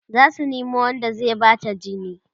zasu Nemo Wanda zai Bata jini